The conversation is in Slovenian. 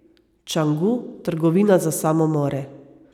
Čangu, Trgovina za samomore.